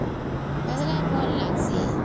ଭଲ ଲାଗିଁସି